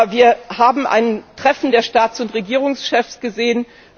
Wir haben ein Treffen der Staats und Regierungschefs gesehen.